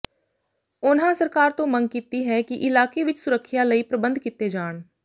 ਉਨ੍ਹਾਂ ਸਰਕਾਰ ਤੋਂ ਮੰਗ ਕੀਤੀ ਹੈ ਕਿ ਇਲਾਕੇ ਵਿੱਚ ਸੁਰੱਖਿਆ ਲਈ ਪ੍ਰਬੰਧ ਕੀਤੇ ਜਾਣ